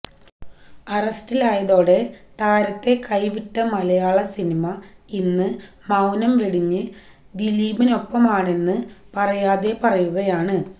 അറസ്റ്റിലായതോടെ താരത്തെ കൈവിട്ട മലയാള സിനിമ ഇന്ന് മൌനം വെടിഞ്ഞ് ദിലീപിനൊപ്പമാണെന്ന് പറയാതെ പറയുകയണ്